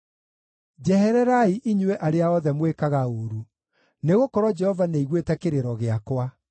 Njehererai inyuĩ arĩa othe mwĩkaga ũũru, nĩgũkorwo Jehova nĩaiguĩte kĩrĩro gĩakwa.